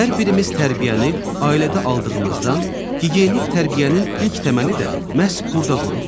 Hər birimiz tərbiyəni ailədə aldığımızdan gigiyenik tərbiyənin ilk təməli də məhz burada qoyulur.